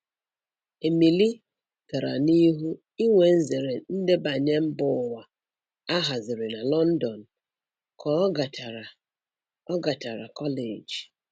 Emily gara n'ihu inwe nzere ndebanye mbụwa a haziri na London, ka ọ gachara ọ gachara kọleji